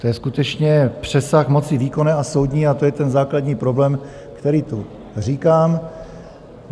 To je skutečně přesah moci výkonné a soudní, a to je ten základní problém, který tu říkám.